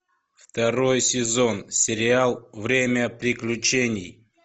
второй сезон сериал время приключений